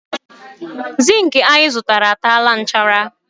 zinc anyị zụtara a tara nchara